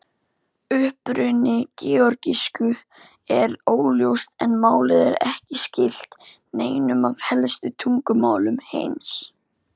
Uppruni georgísku er óljós en málið er ekki skylt neinum af helstu tungumálum heims.